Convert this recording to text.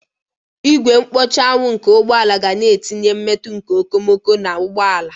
Ìgwè mkpuchi anwụ nke ụgbọ ala ga-na etinye mmetụ nke okomoko na ụgbọ ala.